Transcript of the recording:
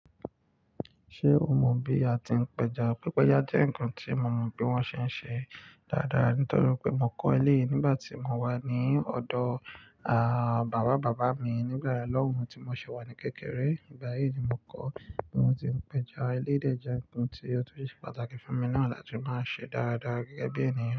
Ṣé o mọ bí a ti ń péja? Pípéjá jẹ́ ǹkan tí mo mọ bí wọ́n ṣe ń ṣe dáadáa nítorí pé mo kọ́ eléyìí nígbà tí mo wà ní ọ̀dọ̀ à, bàbá bàbá mi nígbà yẹ̀n lọ́hùn tí mo ṣi wà ní kékeré. Ìgbà yìí ni mo kọ́ bí wọ́n ti ń péja eléyi dẹ́ je nǹkan tí ó tó ṣe pàtàkì fún mi náà láti máa ṣe dáadáa gẹ́gẹ́ bí ènìyàn.